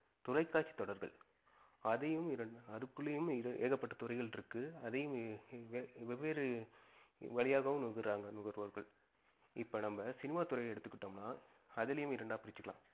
தொலைகாட்சி தொடர்பு. அதையும் இரண்டு அதுக்குள்ளையும் ஏகப்பட்ட துறைகள் இருக்கு. அதையும் வேவ்வேறு வரியாகவும் நுகருராங்க நுகர்வோர்கள். இப்ப நம்ப சினிமாதுறையே எடுத்துகிட்டோம் நா, அதுலயும் இரெண்டா பிரிச்சிக்கலாம்.